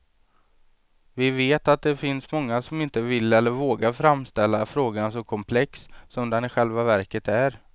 Vi vet att det finns många som inte vill eller vågar framställa frågan så komplex som den i själva verket är.